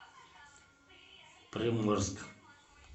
приморск